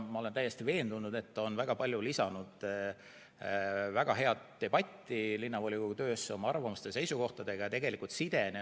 Ma olen täiesti veendunud, et ta on oma arvamuste ja seisukohtadega lisanud linnavolikogu töösse väga palju väga häid debatte.